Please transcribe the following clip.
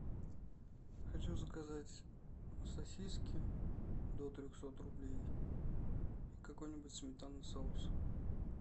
хочу заказать сосиски до трехсот рублей и какой нибудь сметанный соус